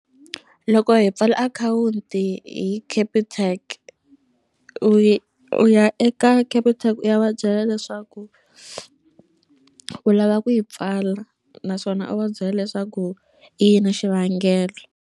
Loko hi pfala akhawunti hi Capitec u u ya eka Capitec u ya va byela leswaku u lava ku yi pfala naswona u va byela leswaku i yini xivangelo.